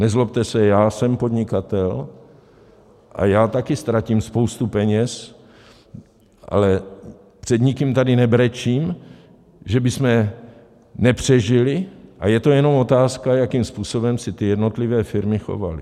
Nezlobte se, já jsem podnikatel a já taky ztratím spoustu peněz, ale před nikým tady nebrečím, že bychom nepřežili, a je to jenom otázka, jakým způsobem se ty jednotlivé firmy chovaly.